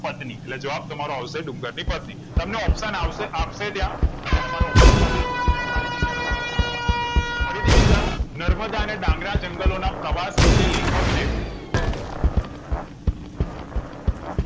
પત્ની એટલે જવાબ તમારો આવશે ડુંગર ની પત્ની તમને option આવશે અપશે ત્યાં અને તમારે option માંથીજ પૂછી ને ખાલી જગ્યા નો જવાબ લખવા નો છેફરીથી વિચારો નર્મદા અને ડાંગરા જંગલોના પ્રવાસ વિશે લેખકને